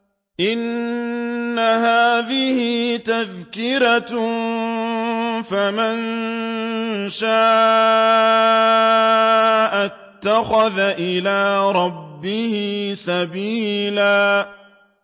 إِنَّ هَٰذِهِ تَذْكِرَةٌ ۖ فَمَن شَاءَ اتَّخَذَ إِلَىٰ رَبِّهِ سَبِيلًا